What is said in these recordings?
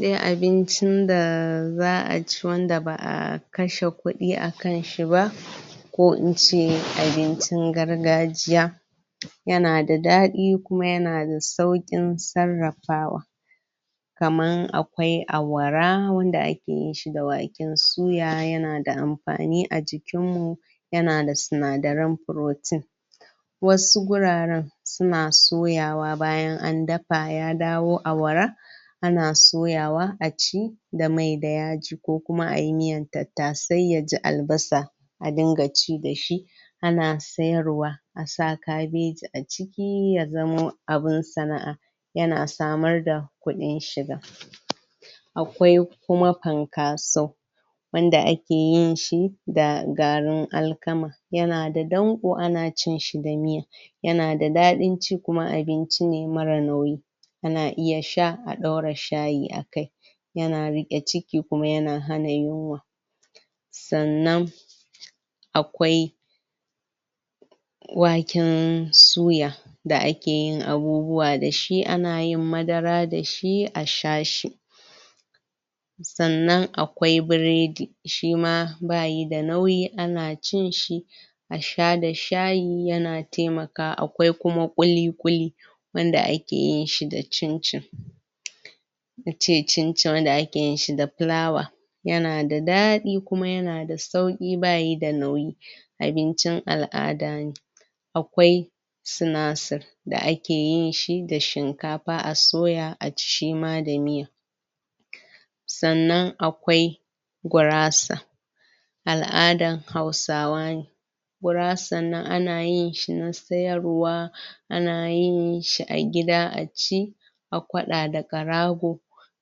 Dai abincin da zaa ci wanda baa kashe kudi a kanshi ba ko in ce abincin gargajiya ya na da dadi kuma ya na da saukin tsarafawa kama akwai awara wanda ake yin shi da wanke suya ya na da amfani a jikin mu ya na da tsinadarin protein wasu guraren su na soyawa bayan a dafa ya dawo awara a na soyawa a ci da mai da yaji ko kuma ayi miyan tatase ya ji albasa a dinga ci da shi a na sayarwa, a sa cabaji a ciki, ya zamo abun sanaa, ya na samar da kudin shiga akwai kuma pankasau wanda ake yin shi da garin alkama ya na da ɗanko a na cin shi danye ya na da dadin ci kuma abinci ne mara nauyi, a na iya sha a daura shayi akai. ya na rike ciki kuma ya na hana yunwa tsannan akwai waken suya da ake yin abubuwa da shi, a na yin madara da shi a sha shi tsannan akwai bredi shi ma bayi da nauyi ana cin shi a sha da shayi, ya na taimaka akwai kuma kuli-kuli wanda ake yin shi da chinchin na ce chinchin wanda a ke yin shi da flawa ya na da dadi kuma ya na da sauki ba yi da nauyi. Abincin alada ne akwai, sinasur da ake yin shi da shinkafa, a soya aci shi ma da miya. Tsannan akwai gurasa aladan hausawa ne, gurasan nan, a na yin shi na sayarwa a na yin shi a gida a ci a kwada da karago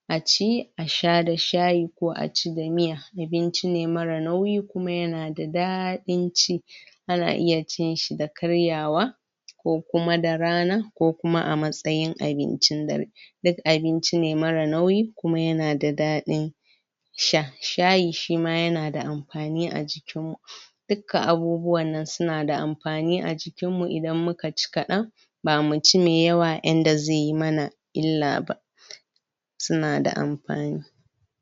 a ci, a sha da shayi ko a ci da miya, abinci ne mara nauyi kuma ya na da dadin ci ana iya cin shi da karyawa ko kuma da rana ko kuma a matsayin abincin da duk abinci ne mara nauyi kuma ya na da dadi sha. Shayin shi ma ya na da amfani a jikin mu. Dukka abubuwan nan su na da amfani a jikin mu idan mu ka ci kadan ba mu ci mai yawa inda zai yi mana illa ba, su na da amfani.